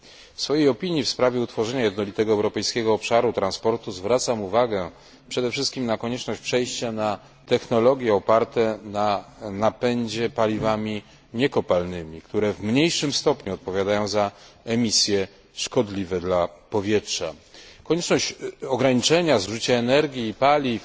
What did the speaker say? W swojej opinii w sprawie utworzenia jednolitego europejskiego obszaru transportu zwracam uwagę przede wszystkim na konieczność przejścia na technologie oparte na napędzie paliwami niekopalnymi, które w mniejszym stopniu odpowiadają za emisje szkodliwe dla powietrza, na konieczność ograniczenia zużycia energii i paliw,